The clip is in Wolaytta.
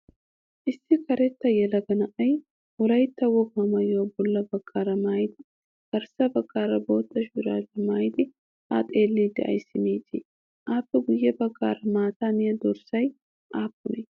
Issi karetta yelaga na''ay wolaytta wogaa maayuwaa bolla baggaara maayidi garssa baggaara bootta shuraabiyaa maayidi ha xeellidi ayissi miiccii? Appe guyye baggaara maata miyaa dorssay aappunee?